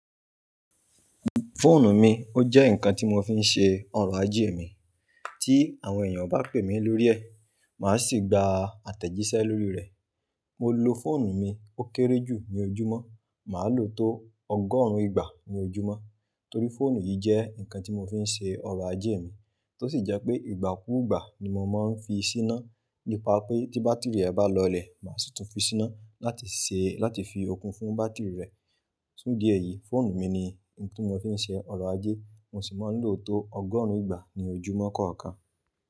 Fóònù mi ó jẹ́ ǹkan tí mo fi ń ṣe ọ̀rọ̀ ajé mi. Tí àwọn èèyàn bá pè mí lórí ẹ̀, màá sì gba àtẹ̀jíṣẹ́ lórí rẹ̀. Mo lo fọ́ònù mi ó kéré jù ní ojúmọ́, màá lò ó tó ọgọ́rùn-ún ìgbà ní ojúmọ́. Torí fọ́ònù yìí jẹ́ ǹkan tí mo fi ń ṣe ọ̀rọ̀ ajé mi, tó sì je pé ìgbàkúgbà ni mo máa ń fi í síná. Nípa pé tí bátìrì rẹ̀ bá lọlẹ̀, màá sì tún fi síná láti ṣe, láti fi okùn fún bátìrì rẹ̀. Fún idi ẹ́yì, fóònù mi ni nǹkan tí mo fi ń ṣe ọ̀rọ̀ ajé, mo sì máa ń lò ó tó ọgọ́rùn-ún ìgbà ní ojúmọ́ kọ̀ọ̀kan.